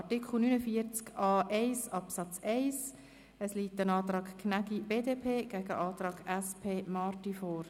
Zu Artikel 49a1 Absatz 1 liegt ein Antrag Gnägi, BDP, gegen einen Antrag SP-JUSO-PSA/Marti vor.